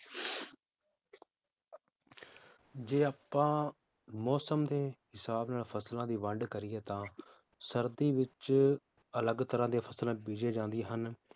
ਜੇ ਆਪਾਂ ਮੌਸਮ ਦੇ ਹਿਸਾਬ ਨਾਲ ਫਸਲਾਂ ਦੀ ਵੰਡ ਕਰੀਏ ਤਾਂ ਸਰਦੀ ਵਿਚ ਅਲਗ ਤਰਾਹ ਦੀ ਫਸਲਾਂ ਬੀਜੀਆਂ ਜਾਂਦੀਆਂ ਹਨ